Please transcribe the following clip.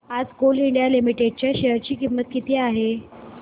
आज coal India limited च्या share ची किंमत किती आहे